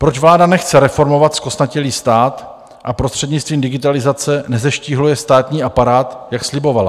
Proč vláda nechce reformovat zkostnatělý stát a prostřednictvím digitalizace nezeštíhluje státní aparát, jak slibovala?